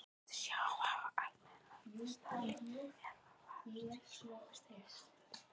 Varstu Sjóvá Almennrar meistari eða varðstu Íslandsmeistari í efstu deild?